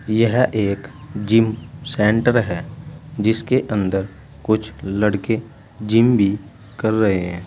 यह एक gym centre है जिसके अंदर कुछ लड़के जिम भी कर रहे हैं।